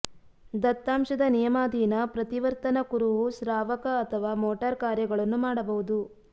ದತ್ತಾಂಶದ ನಿಯಮಾಧೀನ ಪ್ರತಿವರ್ತನ ಕುರುಹು ಸ್ರಾವಕ ಅಥವಾ ಮೋಟಾರ್ ಕಾರ್ಯಗಳನ್ನು ಮಾಡಬಹುದು